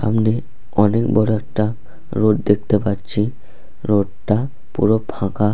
সামনে অনেক বড় একটা রোড দেখতে পাচ্ছি রোড -টা পুরো ফাঁকা।